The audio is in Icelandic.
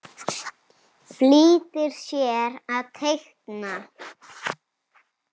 Flýtir sér að teikna.